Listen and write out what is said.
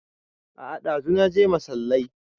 A'a ɗazu naje masallai